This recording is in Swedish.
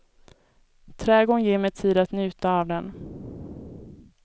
Trädgården ger mig tid att njuta av den.